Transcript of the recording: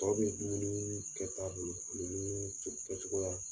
Tɔw be dumunii kɛta bolo olo ni yee ce kɛcogoya.